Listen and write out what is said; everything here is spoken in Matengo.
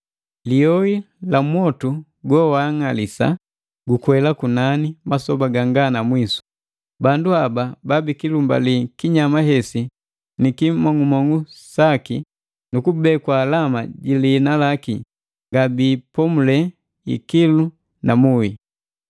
Liyoi la mwotu gowaang'alisa gukwela kunani masoba ganga na mwisu. Bandu haba babikilumbali kinyama hesi ni kimong'umong'u saki nu kubekwa alama ji liina laki, ngabiipomule ikilu na muhi.”